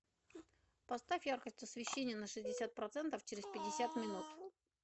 поставь яркость освещения на шестьдесят процентов через пятьдесят минут